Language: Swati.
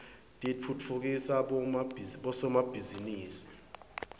titfutfukisa bosomabhizinisi